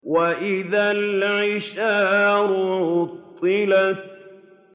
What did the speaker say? وَإِذَا الْعِشَارُ عُطِّلَتْ